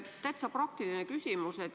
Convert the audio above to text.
Täitsa praktiline küsimus.